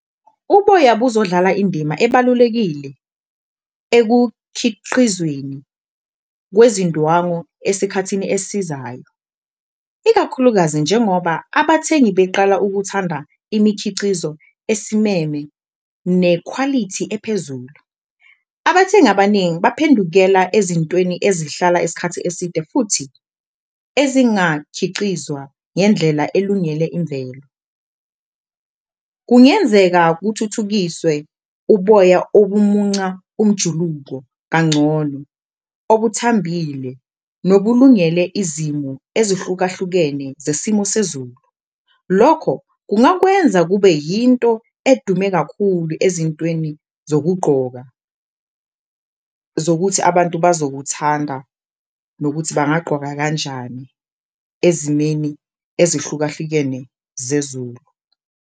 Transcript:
Uboya buzodlala indima ebalulekile ekukhiqizweni kwezindwangu esikhathini esizayo, ikakhulukazi njengoba abathengi beqala ukuthanda imikhicizo esimeme nekhwalithi ephezulu. Abathengi abaningi baphendukela ezintweni ezihlala isikhathi eside futhi ezingakhicizwa ngendlela elungele imvelo, kungenzeka kuthuthukiswe ubumunca umjuluko kangcono, obuthambile nobulungele izimo ezihlukahlukene zesimo sezulu. Lokho kungakwenza kube yinto edume kakhulu ezintweni zokugqoka zokuthi abantu abazokuthanda, nokuthi bangagqoka kanjani ezimeni ezehlukahlukene zezulu.